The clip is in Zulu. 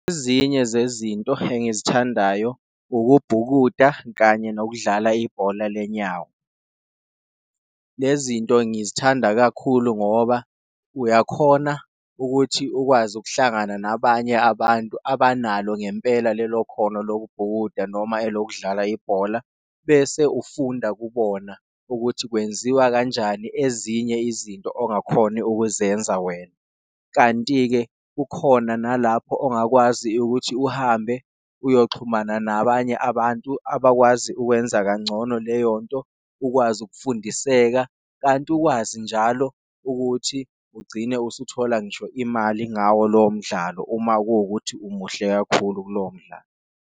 Ezinye zezinto engizithandayo ukubhukuda kanye nokudlala ibhola lenyawo, lezinto ngizithanda kakhulu ngoba uyakhona ukuthi ukwazi ukuhlangana nabanye abantu abanalo ngempela lelo khono lokubhukuda noma elokudlala ibhola. Bese ufunda kubona ukuthi kwenziwa kanjani ezinye izinto ongakhona ukuzenza wena kanti-ke, ukhona nalapho ongakwazi ukuthi uhambe uyoxhumana nabanye abantu abantu abakwazi ukwenza kangcono leyonto ukwazi ukufundiseka. Kanti ukwazi njalo ukuthi ugcine usuthola ngisho imali ngawo lowo mdlalo uma kuwukuthi umuhle kakhulu kulowo mdlalo.